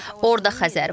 Orda Xəzər var.